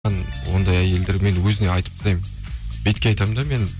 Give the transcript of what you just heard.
ондай әйелдермен өзіне айтып тастаймын бетке айтамын да мен